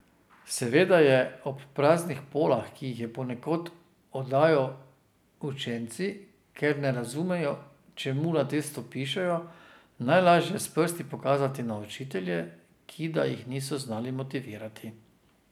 Seveda je ob praznih polah, ki jih ponekod oddajo učenci, ker ne razumejo, čemu ta test pišejo, najlažje s prsti pokazati na učitelje, ki da jih niso znali motivirati.